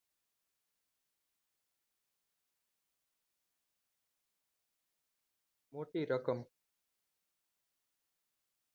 મોટી રકમ